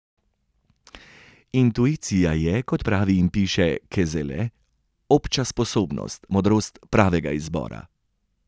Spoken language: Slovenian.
Intuicija je, kot pravi in piše Kezele, obča sposobnost, modrost pravega izbora.